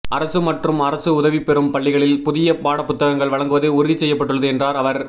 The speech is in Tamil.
அரசு மற்றும் அரசு உதவிபெறும் பள்ளிகளில் புதிய பாடப்புத்தகங்கள் வழங்குவது உறுதி செய்யப்பட்டுள்ளது என்றார் அவர்